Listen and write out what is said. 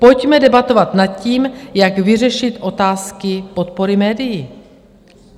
Pojďme debatovat nad tím, jak vyřešit otázky podpory médií.